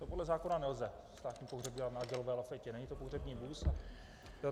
To podle zákona nelze, státní pohřeb dělat na dělové lafetě, není to pohřební vůz.